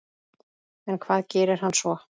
En hvað gerir hann svo?